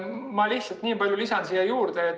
Ma lihtsalt lisan siia juurde.